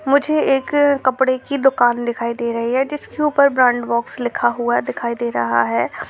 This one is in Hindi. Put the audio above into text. मुझे एक कपड़े की दुकान दिखाई दे रही है जिसके ऊपर ब्रैन्ड बॉक्स लिखा हुआ दिखाई दे रहा है।